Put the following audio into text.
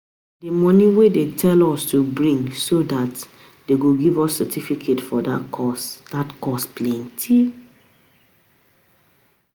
The money wey dey tell us to bring so dat dey go give us certificate for dat course dat course plenty